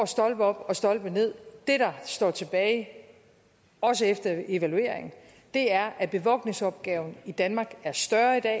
stolpe op og stolpe nederst det der står tilbage også efter evalueringen er at bevogtningsopgaven i danmark er større i dag